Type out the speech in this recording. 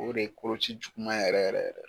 O de ye koloci juguman yɛrɛ yɛrɛ yɛrɛ.